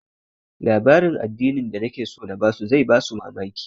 Labarin addinin da nake so na ba su zai ba su mamaki